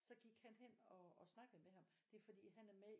Så gik han hen og snakkede med ham det er fordi han er med